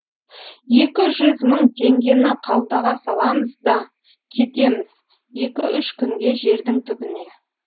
екі жүз мың теңгені қалтаға саламыз да кетеміз екі үш күнге жердің түбіне